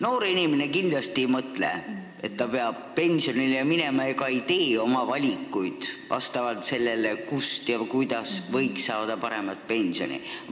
Noor inimene kindlasti ei mõtle, et ta peab pensionile minema, ega tee oma valikuid vastavalt sellele, kust ja kuidas võiks saada paremat pensioni.